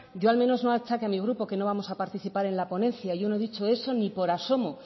yo al menos no achaque a mi grupo que no vamos a participar en la ponencia yo no he dicho eso ni por asomo